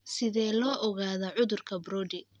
Sidee loo ogaadaa cudurka Brody?